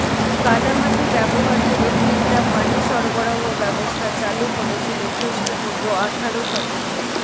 কাদা মাটি ব্যবহার করে গ্রিকরা পানি সরবরাহ ব্যবস্থা চালু করেছিল খৃষ্ঠপূর্ব আঠারো শতকে